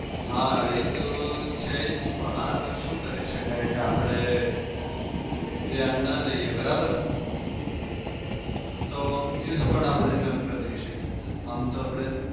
હા એતો છે જ પણ આતો શું કરી શકાય આપડે ધ્યાન ના દઈએ બરાબર? તો use પણ આપડે ના કરી શકીએ. આમ તો આપડે